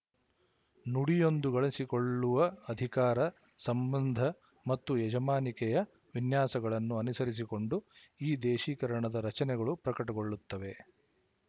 ನುಡಿಯೊಂದು ಗಳಿಸಿಕೊಳ್ಳುವ ಅಧಿಕಾರ ಸಂಬಂಧ ಮತ್ತು ಯಜಮಾನಿಕೆಯ ವಿನ್ಯಾಸಗಳನ್ನು ಅನುಸರಿಸಿಕೊಂಡು ಈ ದೇಶೀಕರಣದ ರಚನೆಗಳು ಪ್ರಕಟಗೊಳ್ಳುತ್ತವೆ